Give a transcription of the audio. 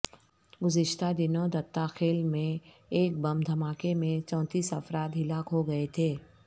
گزشتہ دنوں دتہ خیل میں ایک بم دھماکے میں چونتیس افراد ہلاک ہوگئے تھے